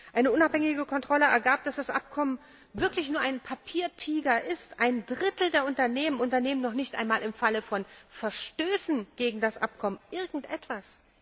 Eine unabhängige Kontrolle ergab, dass das Abkommen wirklich nur ein Papiertiger ist, ein Drittel der Unternehmen unternehmen noch nicht einmal im Falle von Verstößen gegen das Abkommen irgendetwas.